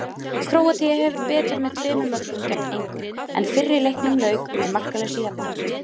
Króatía hafði betur með tveimur mörkum gegn engu, en fyrri leiknum lauk með markalausu jafntefli.